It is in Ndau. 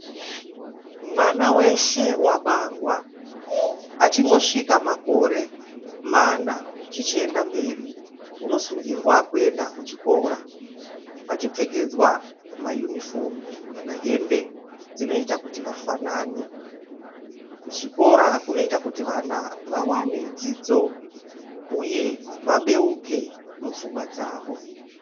Mwana weshe wabarwa, achingosvika makore mana zvichienda mberi unosungirwa kuenda kuchikora achipfekedzwa mayunifomu kana kuti hembe dzinoita kuti vafanane. Kuzvikora kunoita kuti vana vawane dzidzo uye vabeuke mupfungwa dzavo.